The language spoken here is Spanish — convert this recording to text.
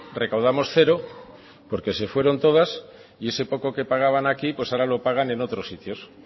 recaudamos cero porque se fueron todas y ese poco que pagaban aquí pues ahora lo pagan en otros sitios claro